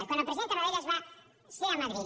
quan el president tarradellas va ser a madrid